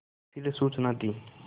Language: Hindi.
फिर सूचना दी